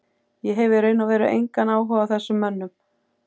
Ég hef í raun og veru engan áhuga á þessum mönnum.